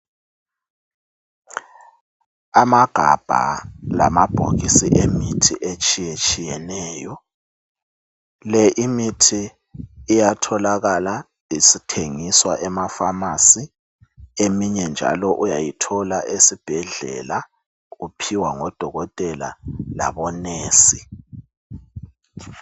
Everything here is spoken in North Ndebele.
Amagabha lamabhokisi emithi etshiye tshiyeneyo le imithi iyatholakala isithengiswa emafamasi eminye njalo uyayithola esibhedlela uphiwa ngodokotela labomongikazi.